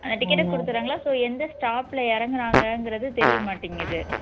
ticket அ கொடுத்துடுறாங்களா so எந்த stop ல இறங்குறாங்கங்குறது தெரிய மாட்டேங்குது